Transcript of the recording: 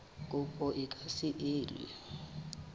kopo e ka se elwe